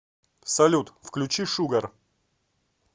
салют включи шугар